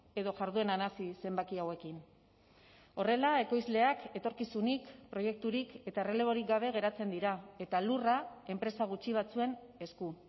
edo jardueran hazi zenbaki hauekin horrela ekoizleak etorkizunik proiekturik eta erreleborik gabe geratzen dira eta lurra enpresa gutxi batzuen esku